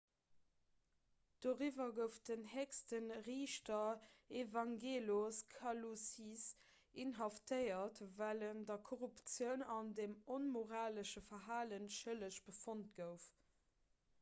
doriwwer gouf den héchste riichter evangelos kalousis inhaftéiert well en der korruptioun an dem onmoralesche verhale schëlleg befonnt gouf